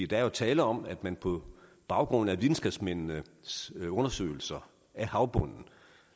der er jo tale om at man på baggrund af videnskabsmændenes undersøgelser af havbunden